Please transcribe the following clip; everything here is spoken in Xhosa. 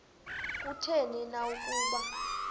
kutheni na ukuba